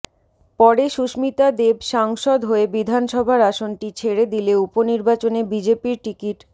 পরে সুস্মিতা দেব সাংসদ হয়ে বিধানসভার আসনটি ছেড়ে দিলে উপনির্বাচনে বিজেপির টিকিট